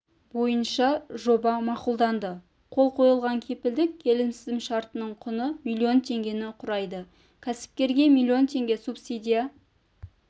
бойынша жоба мақұлданды қол қойылған кепілдік келісімшарттарының құны миллион теңгені құрайды кәсіпкерге миллион теңге субсидия